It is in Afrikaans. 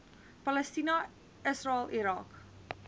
palestina israel irak